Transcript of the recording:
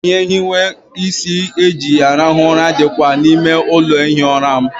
Ihe nhiwe isi eji arahụ ụra dịkwa n'ime ụlọ ihi ụra m.